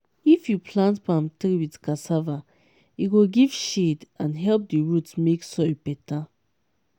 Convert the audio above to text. if you plant palm tree with cassava e go give shade and help the root make soil better.